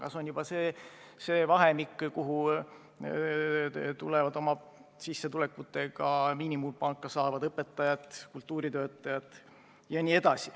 Ja see on juba see kategooria, kuhu kuuluvad oma sissetulekuga miinimumpalka saavad õpetajad, kultuuritöötajad jt.